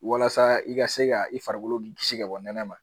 Walasa i ka se ka i farikolo kisi ka bɔ nɛnɛ ma